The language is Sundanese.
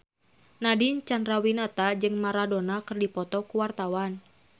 Nadine Chandrawinata jeung Maradona keur dipoto ku wartawan